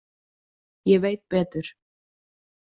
Ég veit betur.